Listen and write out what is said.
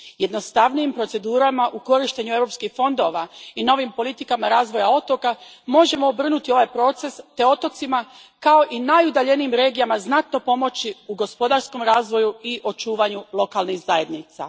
Jednostavnijim procedurama u korištenju europskih fondova i novim politikama razvoja otoka možemo obrnuti ovaj proces te otocima, kao i najudaljenijim regijama, znatno pomoći u gospodarskom razvoju i očuvanju lokalnih zajednica.